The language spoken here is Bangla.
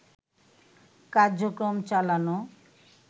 কার্যক্রম চালানো